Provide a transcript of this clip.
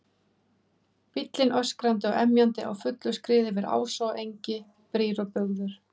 Bíllinn öskrandi og emjandi á fullu skriði yfir ása og engi, brýr og bugður.